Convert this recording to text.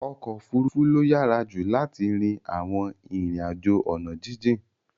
Okofurufu lo yara ju lart rin awon rin ajo ona jijin